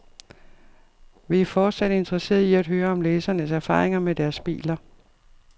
Vi er fortsat interesserede i at høre om læsernes erfaringer med deres biler.